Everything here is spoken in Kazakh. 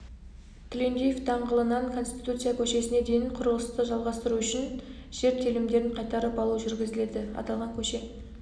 тілендиев даңғылынан конституция көшесіне дейін құрылысты жалғастыру үшін жер телімдерін қайтарып алу жүргізіледі аталған көше